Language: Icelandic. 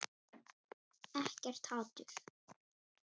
Ekkert hatur.